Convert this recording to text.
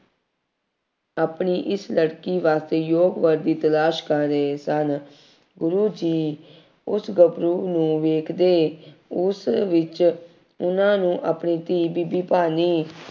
ਆਪਣੀ ਇਸ ਲੜਕੀ ਵਾਸਤੇ ਯੋਗ ਵਰ ਦੀ ਤਲਾਸ਼ ਕਰ ਰਹੇ ਸਨ। ਗੁਰੂ ਜੀ ਉਸ ਗੱਭਰੂ ਨੂੰ ਵੇਖਦੇ, ਉਸ ਵਿੱਚ, ਉਹਨਾ ਨੂੰ ਆਪਣੀ ਧੀ ਬੀਬੀ ਭਾਨੀ